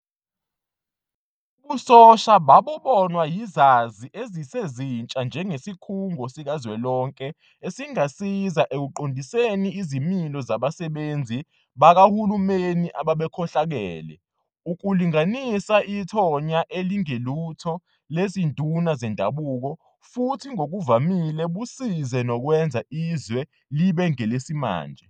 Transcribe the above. Ubusosha babubonwa yizazi ezisezintsha njengesikhungo sikazwelonke esingasiza ekuqondiseni izimilo zabasebenzi kabahulumeni ababekhohlakele, ukulinganisa ithonya elingelutho lezinduna zendabuko futhi ngokuvamile busize nokwenza izwe libe ngelesimanje.